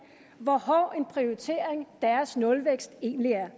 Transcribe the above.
hvor hård en prioritering deres nulvækst egentlig er